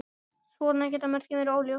Svona geta mörkin verið óljós.